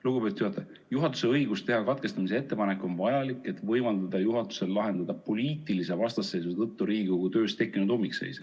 Lugupeetud juhataja, juhatuse õigus teha katkestamise ettepanek on vajalik, et võimaldada juhatusel lahendada poliitilise vastasseisu tõttu Riigikogu töös tekkinud ummikseis.